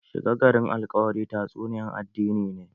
Shiga garin alkawari tatsuniyan addini ne